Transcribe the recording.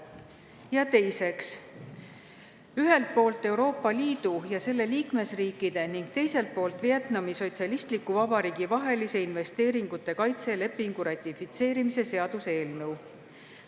Ja teiseks, ühelt poolt Euroopa Liidu ja selle liikmesriikide ning teiselt poolt Vietnami Sotsialistliku Vabariigi vahelise investeeringute kaitse lepingu ratifitseerimise seaduse eelnõu.